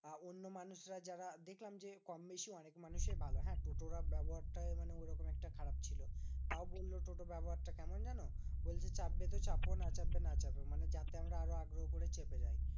আহ অন্য মানুষরা যারা দেখলাম যে, কম বেশি অনেক মানুষই ভালো হ্যাঁ? টোটোরা ব্যবহারটা মানে ওরকম একটা খারাপ ছিল। তাও বললো টোটোর ব্যবহারটা কেমন জানো? বলছে চাপবে তো চাপো না চাপবে না চাপো। মানে যাতে আমরা আরো আগ্রহ করে চেপে যাই।